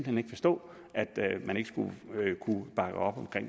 hen ikke forstå at man ikke skulle kunne bakke op om